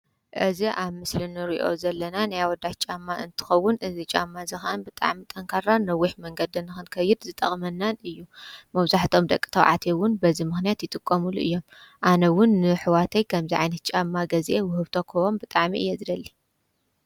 እዚ ኣብ ምስሊ ንሪኦ ዘለና ናይ ኣወዳት ጫማ እንተከዉን እዚ ጫማ እዚ ከዓ ብጣዕሚ ጠንካራን ነዊሕ መንገዲ ንክትከይድ ዝጠቅመናን እዩ። መብዛሕትኦም ደቂ ተባዕትዮ እዉን በዚ ምክንያት ይጥቀምሉ እዮም። ኣነ እዉን ንኣሕዋተይ ከምዚ ዓይነት ጫማ ገዚአ ውህብቶ ክህቦም ብጣዕሚ እየ ዝደሊ።